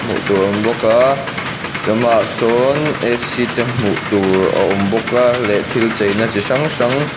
hmuh tur a awm bawk a te hmuh tur a awm bawk a leh thil cheina chi hrang hrang.